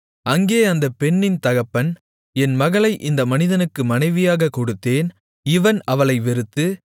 அங்கே அந்தப் பெண்ணின் தகப்பன் என் மகளை இந்த மனிதனுக்கு மனைவியாகக் கொடுத்தேன் இவன் அவளை வெறுத்து